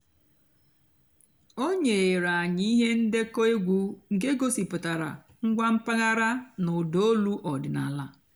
ó nyèéré ànyị́ íhé ǹdékọ́ ègwú nkè gosìpụ́tárá ǹgwá m̀pàghàrà nà ụ́dà ólú ọ̀dị́náàlà.